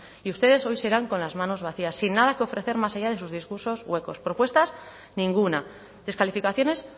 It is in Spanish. y ustedes hoy se irán con las manos vacías sin nada que ofrecer más allá de sus discursos huecos propuestas ninguna descalificaciones